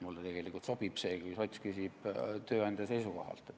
Mulle sobib see, kui sots küsib tööandja seisukohalt.